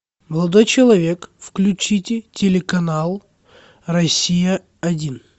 молодой человек включите телеканал россия один